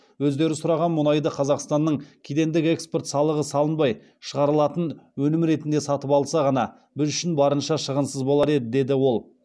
өздері сұраған мұнайды қазақстаннан кедендік экспорт салығы салынбай шығарылатын өнім ретінде сатып алса ғана біз үшін барынша шығынсыз болар еді деді ол